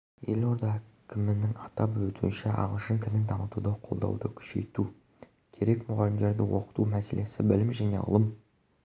елорда әкімінің атап өтуінше ағылшын тілін дамытуды қолдауды күшейту керек мұғалімдерді оқыту мәселесі білім және ғылым